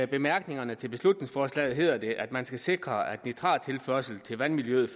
bemærkningerne til beslutningsforslaget hedder det at man skal sikre at nitrattilførsel til vandmiljøet